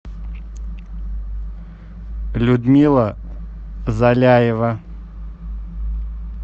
людмила заляева